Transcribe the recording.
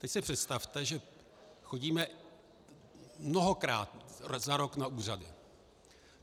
Teď si představte, že chodíme mnohokrát za rok na úřady.